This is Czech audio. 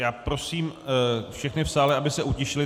Já prosím všechny v sále, aby se utišili.